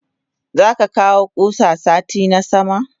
Zaka kawo kusa sati na sama?